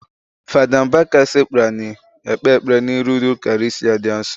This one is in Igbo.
Fada Mbaka sekpu anị ekpe ekpere n'iru Ukarịstịa di asọ.